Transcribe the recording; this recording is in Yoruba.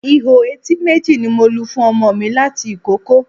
Ihò etí méjì ni mo lu fún ọmọ mi láti ìkókó